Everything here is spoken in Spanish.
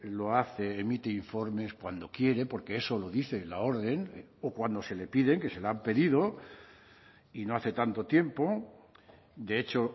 lo hace emite informes cuando quiere porque eso lo dice la orden o cuando se le piden que se la han pedido y no hace tanto tiempo de hecho